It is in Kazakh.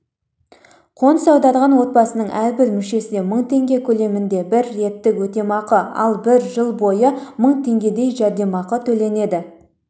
қоныс аударған отбасының әрбір мүшесіне мың теңге көлемінде бір реттік өтемақы ал бір жыл бойы мың теңгедей жәрдемақы төленеді